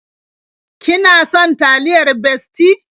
Ki na son taliyar Bestie?